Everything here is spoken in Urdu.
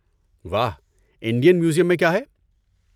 واہ انڈین میوزیم میں کیا ہے؟